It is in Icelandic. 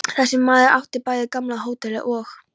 Þar sem þessi maður átti bæði gamla hótelið og